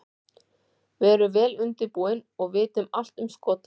Við erum vel undirbúin og vitum allt um Skota.